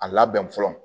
A labɛn fɔlɔ